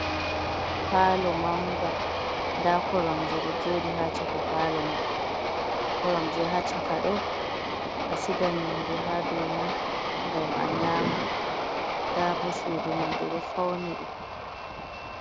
Paalo manga nda koromje ɗo jooɗi ha chaka palo man koromje ha chaka ɗo a sigan nyamdu ha dou man ngam a nyama, ndabo sudu man ɓe ɗo fauni ɗum.